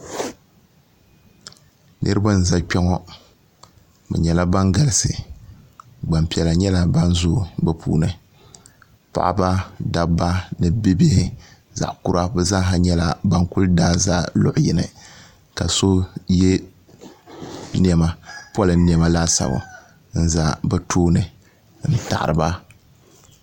niriba n za kpɛŋɔ be nyɛla ban galisi gbanpiɛlla nyɛla ban zuyi be puuni paɣ' ba daba ni bihi zaɣ' kura bɛ zaa nyɛla ban kuli daazayaɣ' yini ka so bɛ mi yɛ polin nɛma laasabu n za be tuuni n taɣiriba